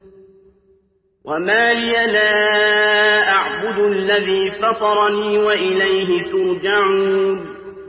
وَمَا لِيَ لَا أَعْبُدُ الَّذِي فَطَرَنِي وَإِلَيْهِ تُرْجَعُونَ